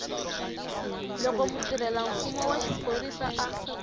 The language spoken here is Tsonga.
loko mutirhelamfumo wa xiphorisa a